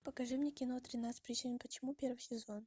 покажи мне кино тринадцать причин почему первый сезон